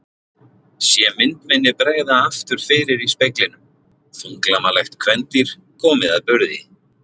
Sé mynd minni bregða aftur fyrir í speglinum: Þunglamalegt kvendýr komið að burði.